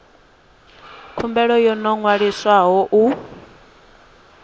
khumbelo yo no ṅwaliswaho u